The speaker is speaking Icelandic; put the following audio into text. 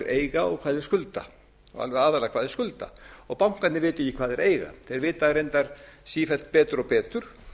og hvað þeir skulda og alveg aðallega hvað þeir skulda og bankarnir vita ekki hvað þeir eiga þeir vita það reyndar sífellt betur og betur